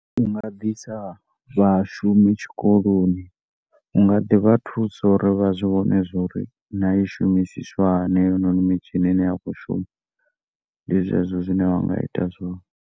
Unga ḓi isa vhashumi tshikoloni unga ḓi vha thusa uri vha zwi vhone zwa uri na yo i shumisiswa hani heyo noni mitshini ine ya khou shuma ndi zwezwo zwine unga ita zwone.